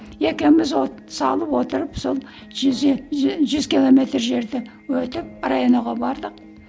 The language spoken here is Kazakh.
екеуміз от салып отырып сол жүз километр жерді өтіп районо ға бардық